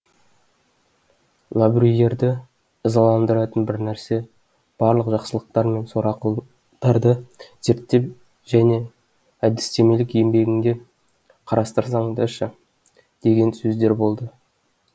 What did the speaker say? лабрюйерді ызаландыратын бір нәрсе барлық жақсылықтар мен сорақылықтарды зерттеп және әдістемелік еңбегіңде қарастырсаңшы деген сөздер болды